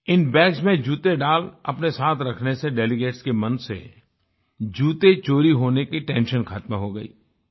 इन bags में जूते डाल अपने साथ रखने से डेलीगेट्स के मन से जूते चोरी होने की टेंशन ख़त्म हो गई